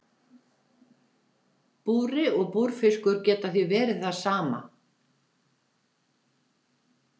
Búri og búrfiskur geta því verið það sama.